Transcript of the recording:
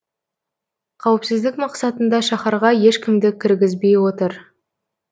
қауіпсіздік мақсатында шаһарға ешкімді кіргізбей отыр